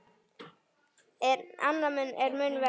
En annað er mun verra.